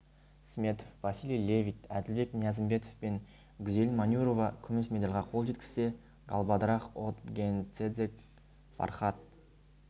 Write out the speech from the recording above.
сметов василий левит әділбек ниязымбетов пен гүзел манюрова күміс медальға қол жеткізсе галбадрах отгонцэцэг фархад